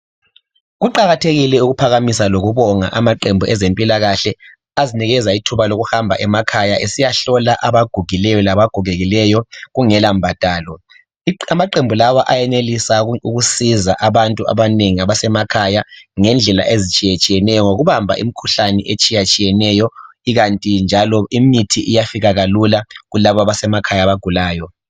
Kuqakathekile ukuphakamisa lokubonga amaqembu ezempilakahle azinikeza ithuba lokuhamba emakhaya esiyahlola abagugileyo labagogekileyo kungelambhadalo. Amaqembu lawa ayenelisa ukusiza abantu abanengi abasemakhaya ngendlela ezitshiyeneyo ngokubamba imikhuhlane etshiyatshiyeneyo ikanti njalo imithi iyafika lula kulabo abasemakhaya abagulayo